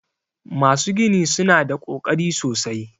Masu gini su na da ƙoƙari sosai.